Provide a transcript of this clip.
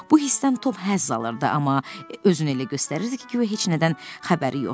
Bu hissdən Tom həzz alırdı, amma özünü elə göstərirdi ki, guya heç nədən xəbəri yoxdur.